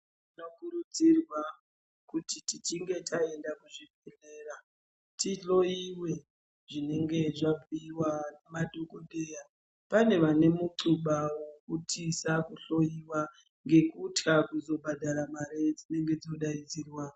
Rinokurudzirwaa kuti tichinge taenda kuzvibhedhlera, tihloyiwee zvinenge zvabhuyiwa nemadhokodheyaa , pane vane mutshluba wekuti tisahloyiwa ngekutyaa kuzobhadhara mari dzinenge dzodaidzirwaa.